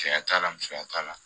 Cɛya t'a la musoya t'a la